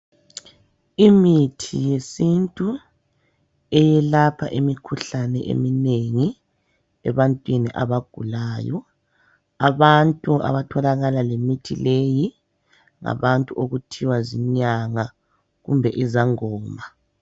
Imithi yesintu eyelapha imikhuhlane eminengi ebantwini abagulayo. Abantu abatholakala lemithi leyi ngabantu okuthiwa zinyanga kumbe izangoma.